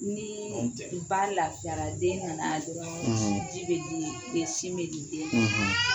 Ni ba lafiyara den nana dɔrɔn ji bɛ di e sin bɛ di den ma